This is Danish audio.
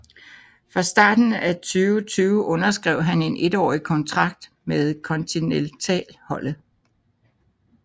Fra starten af 2020 underskrev han en étårig kontrakt med kontineltalholdet